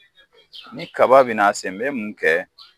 Ni kaba bɛna a se n bɛ mun kɛ